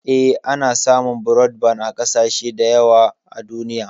Eh, ana samun brodban a ƙasashe da yawa a duniya.